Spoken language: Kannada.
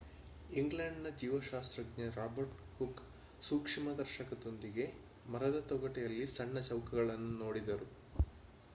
ಇಂಗ್ಲೆಂಡ್‌ನ ಜೀವಶಾಸ್ತ್ರಜ್ಞ ರಾಬರ್ಟ್ ಹುಕ್ ಸೂಕ್ಷ್ಮದರ್ಶಕದೊಂದಿಗೆ ಮರದತೊಗಟೆಯಲ್ಲಿ ಸಣ್ಣ ಚೌಕಗಳನ್ನು ನೋಡಿದರು